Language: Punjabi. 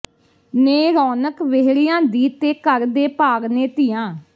ਨੇ ਰੌਣਕ ਵਿਹੜਿਆਂ ਦੀ ਤੇ ਘਰਾਂ ਦੇ ਭਾਗ ਨੇ ਧੀਆਂ